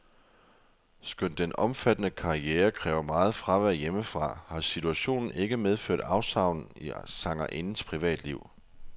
Skønt den omfattende karriere kræver meget fravær hjemmefra, har situationen ikke medført afsavn i sangerindens privatliv.